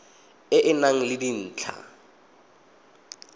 e e nang le dintlha